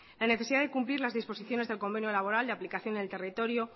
la necesidad de cumplir las disposiciones del convenio laboral de aplicación en el territorio